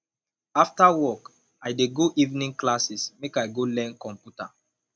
after work i dey go evening class make i go learn computer